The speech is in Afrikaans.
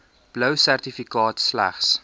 blou sertifikaat slegs